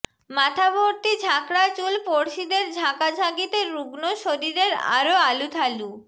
মাথা ভর্তি ঝাঁকড়া চুল পড়শিদের ঝাঁকাঝাকিতে রুগ্ণ শরীরের আরও আলুথালু